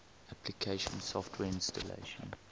application software installation